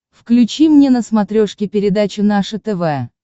включи мне на смотрешке передачу наше тв